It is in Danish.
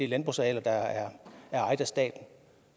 landbrugsarealer der er ejet af staten